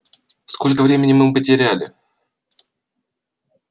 сколько времени мы потеряли